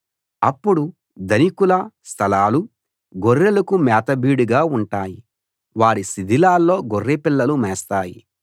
అప్పుడు ధనికుల స్థలాలు గొర్రెలకు మేత బీడుగా ఉంటాయి వారి శిథిలాల్లో గొర్రెపిల్లలు మేస్తాయి